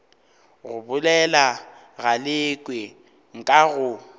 go bolela galekwe nka go